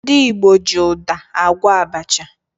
Ndị Igbo ji ụda agwọ abacha